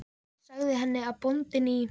Ég sagði henni að bóndinn í